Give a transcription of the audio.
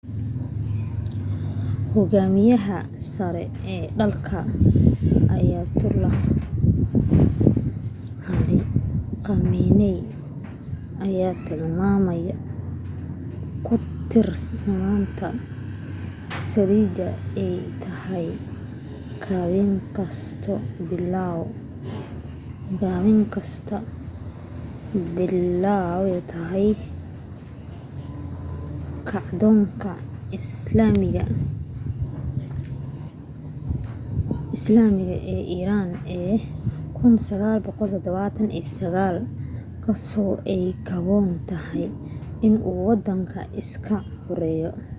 hogaamiyaha sare ee dalka ayatollah ali khamenei ayaa tilmaamay ku tiirsanaanta saliida ay tahay dabin kasoo bilaabato kacdoonka islaamiga ee iran ee 1979 kaasoo ay haboon tahay inuu wadanka iska xoreeyo